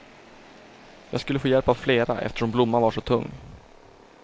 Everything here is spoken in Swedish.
Jag skulle få hjälp av flera, eftersom blomman var så tung.